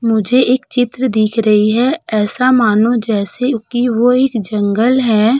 मुझे एक चित्र दिख रही है ऐसा मानो जैसे की वो एक जंगल है।